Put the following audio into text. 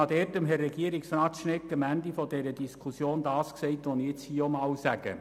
Ich habe Herrn Regierungsrat Schnegg am Ende dieser Diskussion das gesagt, was ich hier auch noch einmal sage.